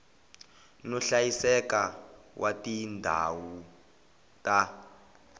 no hlayiseka wa tindhawu ta